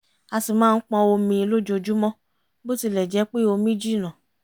a ṣì máa pọn omi lójojúmọ́ bó tilẹ̀ jẹ́ pé omi jìnnà